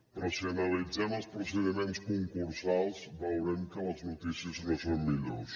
però si analitzem els procediments concursals veurem que les notícies no són millors